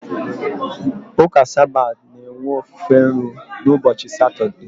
Ụka Sabat na-enwe ofufe nru n'ụbọchị Satọdee.